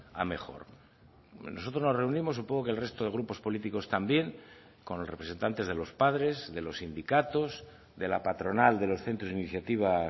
a mejor nosotros nos reunimos supongo que el resto de grupos políticos también con los representantes de los padres de los sindicatos de la patronal de los centros de iniciativa